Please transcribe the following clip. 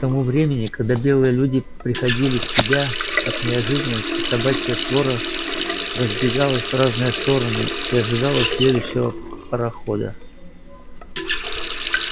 к тому времени когда белые люди приходили в себя от неожиданности собачья свора разбегалась в разные стороны и ожидала следующего парохода